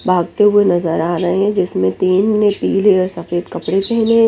भागते हुए नजर आ रहे है जिसमे तीन ने पीले और सफेद कपड़े पहने है।